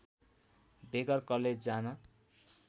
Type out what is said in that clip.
बेगर college जान